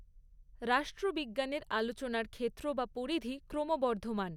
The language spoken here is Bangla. রাষ্ট্রবিজ্ঞনের আলোচনার ক্ষেত্র বা পরিধি ক্রমবর্ধমান।